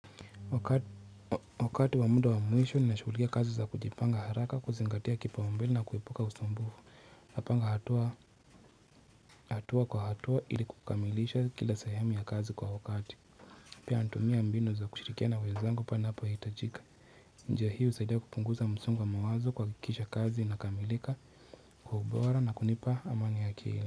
Wakati wa muda wa mwisho ninashukulikia kazi za kujipanga haraka kuzingatia kipaumbele na kuepuka usumbufu. Napanga hatua hatua kwa hatua ili kukamilisha kila sehemu ya kazi kwa wakati. Pia natumia mbinu za kushirikiana na wezangu panapohitajika. Njia hii usaidia kupunguza msongo wa mawazo kwa kuhakikisha kazi inakamilika kwa ubora na kunipa amani ya akili.